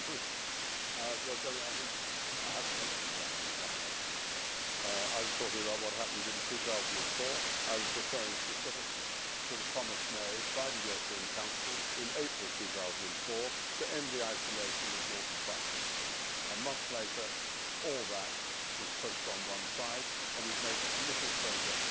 I have not actually mentioned the Annan Plan I was talking about what happened in 2004. I was referring specifically to the promise made by the European Council in April 2004 to end the isolation of northern Cyprus. A month later, all that was pushed on one side and we have made little progress since.